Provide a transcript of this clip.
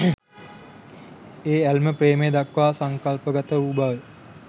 ඒ ඇල්ම ප්‍රේමය දක්වා සංකල්පගත වූ බව